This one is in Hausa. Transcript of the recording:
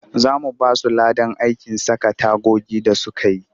Za mu ba su ladan aikin saka tagogi da suka yi